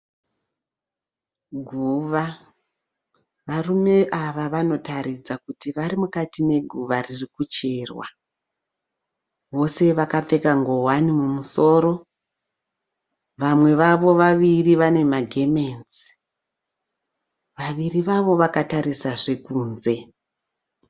Guva. Varume ava vanotaridza kuti vari mukati meguva riri kucherwa. Vose vakapfeka ngowani mumusoro. Vamwe vavo vaviri vane magemenzi. Vaviri vavo vakatarisazve kunze.